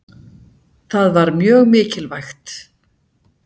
Það var mjög mikilvægt.